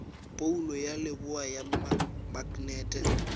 phoulo ya leboa ya maknete